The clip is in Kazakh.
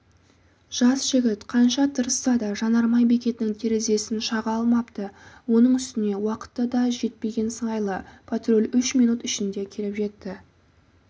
жас жігіт қанша тырысса да жанармай бекетінің терезесін шаға алмапты оның үстіне уақыты дажетпеген сыңайлы патруль үш минут ішінде келіп жетті